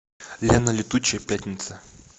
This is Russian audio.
лена летучая пятница